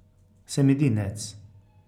Sem edinec.